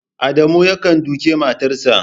Adamu yakan duke matarsa